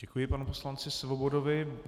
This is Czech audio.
Děkuji panu poslanci Svobodovi.